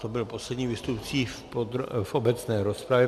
To byl poslední vystupující v obecné rozpravě.